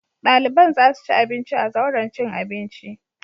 Ɗaliban za su ci abinci a zauren cin abinci.